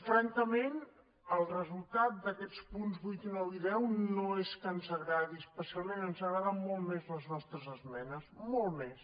francament el resultat d’aquests punts vuit nou i deu no és que ens agradi especialment ens agraden molt més les nostres esmenes molt més